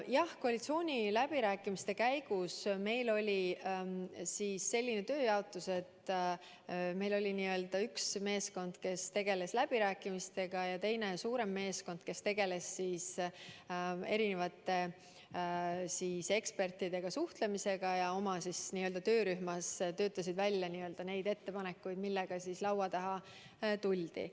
Jah, koalitsiooniläbirääkimiste käigus oli meil selline tööjaotus, et meil oli üks meeskond, kes tegeles läbirääkimistega, ja teine, suurem meeskond, kes suhtles erinevate ekspertidega ja töötas töörühmades välja neid ettepanekuid, millega laua taha tuldi.